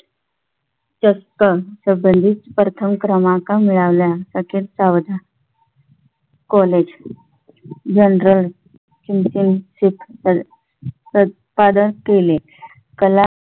अगदी देता मटका गल्ली गल्ली प्रथम क्रमांक मिळवला सावधान college जनरल सिम् सिम simple उत्पादन केल कला